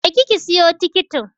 Je ki siyo tikitin!